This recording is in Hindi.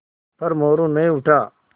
पर मोरू नहीं उठा